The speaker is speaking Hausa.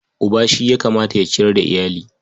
Uba shi ya kamata ya ciyar da iyali.